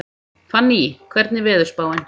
Fanný, hvernig er veðurspáin?